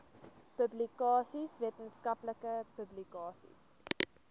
publikasies wetenskaplike publikasies